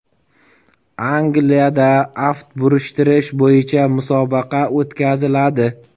Angliyada aft burishtirish bo‘yicha musobaqa o‘tkaziladi.